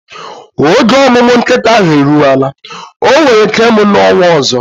Oge omumu nkita ahu eruwela, onwere ike imu na onwa ozo